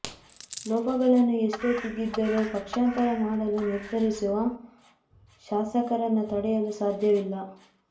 ಲೋಪಗಳನ್ನು ಎಷ್ಟೇ ತಿದ್ದಿದರೂ ಪಕ್ಷಾಂತರ ಮಾಡಲು ನಿರ್ಧರಿಸಿರುವ ಶಾಸಕರನ್ನು ತಡೆಯಲು ಸಾಧ್ಯವಿಲ್ಲ